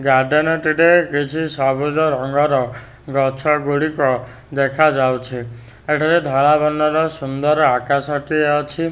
Garden ଟିରେ କିଛି ସବୁଜ ରଙ୍ଗର ଗଛ ଗୁଡ଼ିକ ଦେଖାଯାଉଛି ଏଠାରେ ଧଳା ବର୍ଣ୍ଣର ସୁନ୍ଦର ଆକାଶ ଟିଏ ଅଛି।